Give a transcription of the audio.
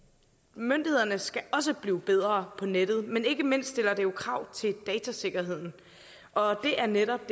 myndighederne skal også blive bedre på nettet men ikke mindst stiller det krav til datasikkerheden og det er netop